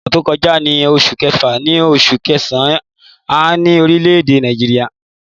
Ìgbà ọsàn tó kọjá ní oṣù kẹfà sí oṣù kẹsàn-án ní orílẹ̀-èdè Nàìjíríà.